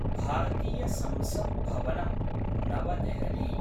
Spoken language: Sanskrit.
भारतीय संसत् भवनम्, नवदेहलि